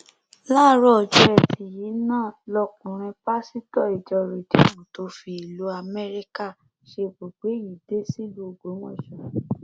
láàárọ ọjọ etí yìí náà lọkùnrin pásítọ ìjọ rìdíìmù tó fi ìlú amẹríkà ṣebùgbé yìí dé sílùú ògbọmọsọ